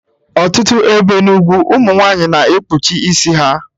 Ọtụtụ ebe n'ugwu ụmụ nwanyị na-ekpuchi isi ha